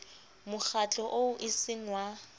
mokgatlo oo e seng wa